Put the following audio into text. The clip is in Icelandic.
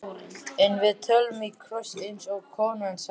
En við tölum í kross, eins og konan sagði.